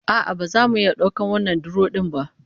A'a, ba za mu iya daukar wannan duro din ba